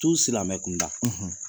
Silamɛmɛ kunda,